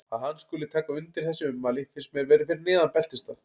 Að hann skuli taka undir þessi ummæli finnst mér vera fyrir neðan beltisstað.